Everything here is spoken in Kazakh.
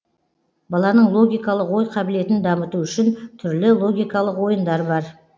баланың логикалық ой қабілетін дамыту үшін түрлі логикалық ойындар бар